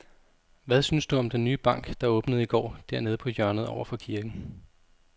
Hvad synes du om den nye bank, der åbnede i går dernede på hjørnet over for kirken?